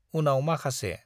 उनाव माखासे